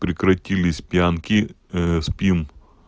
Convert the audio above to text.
прекратились пьянки спим